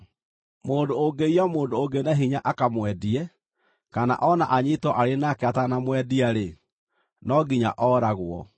“Mũndũ ũngĩiya mũndũ ũngĩ na hinya akamwendie, kana o na anyiitwo arĩ nake atanamwendia-rĩ, no nginya ooragwo.